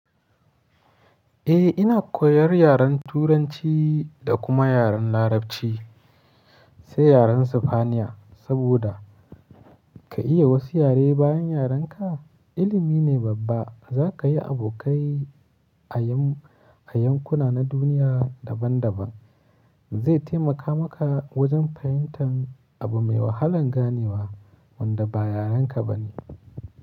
Eh ina koyar yaren Turanci da kuma yaren Larabci. Sai yaren Sifaniya saboda ka iya wasu yare bayan yaren ka ilimi ne babba. Za ka yi abokai a yanƙuna na duniya daban daban zai taimaka maka wajen fahimtar abu mai wahalan ganewa wanda ba yaren ka ba ne.